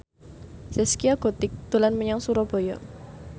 Zaskia Gotik dolan menyang Surabaya